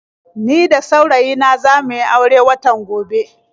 Ni da saurayi na za mu yi aure watan gobe.